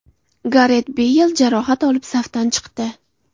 Garet Beyl jarohat olib, safdan chiqdi.